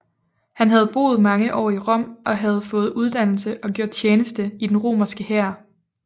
Han havde boet mange år i Rom og havde fået uddannelse og gjort tjeneste i den romerske hær